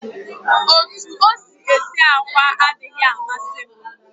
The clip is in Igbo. Otú o si esi àkwá adịghị amasị m